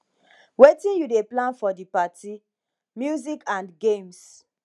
wetin you dey plan for di party music and games